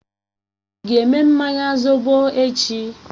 Ị ga-eme mmanya zobo echi?